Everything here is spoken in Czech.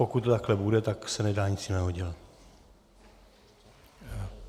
Pokud to takto bude, tak se nedá nic jiného dělat.